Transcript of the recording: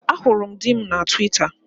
Ahụrụ m di m na Twita